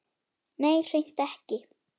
Nei, hreint ekki.